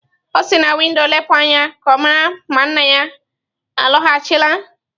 O si na windo lepụ anya ka ọ mara ma nna ya alọghachila.